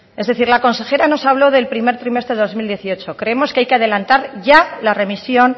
es decir la consejera nos habló del primer trimestre de dos mil dieciocho creemos que hay que adelantar ya la remisión